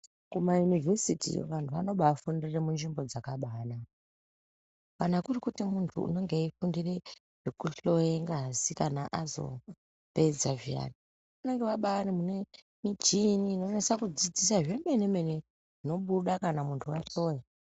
Kimayunivhesiti vantu vanobaafundire munzvimbo dzakabaanaka. Kana kuri kuti muntu unonga weifundire ,zvekuhloye ngazi kana azopedza zviyani, anonga ari munobaari nemichini inonasa kudzidzisa zvemene -mene, zvinobuda kana muntu ahloya.